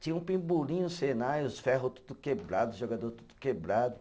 Tinha um pebolim no Senai, os ferro tudo quebrado, os jogador tudo quebrado.